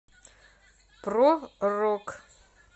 про рок